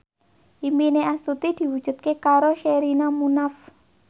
impine Astuti diwujudke karo Sherina Munaf